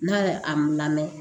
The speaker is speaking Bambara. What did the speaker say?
N'a ye a lamɛn